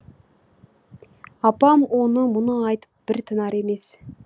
апам оны мұны айтып бір тынар емес